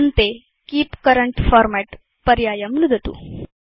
अन्ते keep current format पर्यायं नुदतु